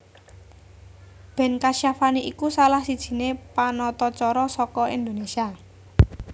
Ben Kasyafani iku salah sijine panatacara saka Indonésia